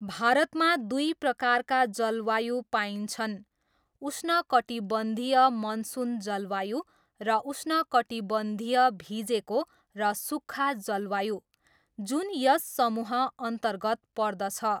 भारतमा दुई प्रकारका जलवायु पाइन्छन्, उष्णकटिबन्धीय मनसुन जलवायु, र उष्णकटिबन्धीय भिजेको र सुक्खा जलवायु, जुन यस समूहअन्तर्गत पर्दछ।